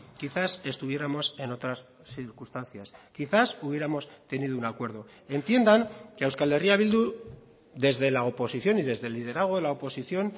quizás estuviéramos en otras circunstancias quizás hubiéramos tenido un acuerdo entiendan que a euskal herria bildu desde la oposición y desde el liderazgo de la oposición